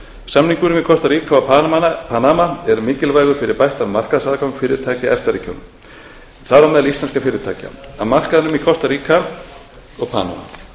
samningurinn við kostaríka og panama er mikilvægur fyrir bættan markaðsaðgang fyrirtækja í efta ríkjunum þar á meðal íslenskra fyrirtækja að markaðnum í kostaríka og panama